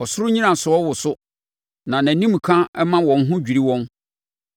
Ɔsoro nnyinasoɔ woso, na nʼanimka ma wɔn ho dwiri wɔn.